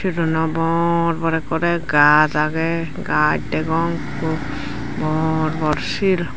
ironno borbor ekkorey gaj agey gaj degong ekko bor bor sil.